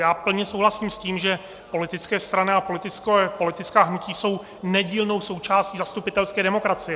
Já plně souhlasím s tím, že politické strany a politická hnutí jsou nedílnou součástí zastupitelské demokracie.